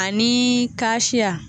A ni